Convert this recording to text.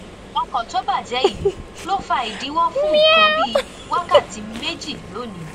ọkọ tó bàjé yìí ló fa ìdíwó fún nǹkan bí wákàtí méjì lónìí